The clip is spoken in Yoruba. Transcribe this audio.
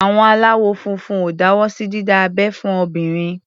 Àwọn aláwọ̀ funfun ò fọwọ́ sí dídá abẹ́ fún obìnrin.